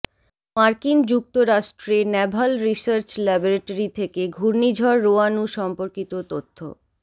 মার্কিন যুক্তরাষ্ট্রে naval research laboratory থেকে ঘূর্ণিঝড় রোয়ানু সম্পর্কিত তথ্য